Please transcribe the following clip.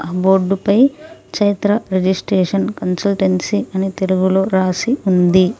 ఆ బోర్డు పై Chaitra registration consultancy అని తెలుగు లో రాసి ఉంది.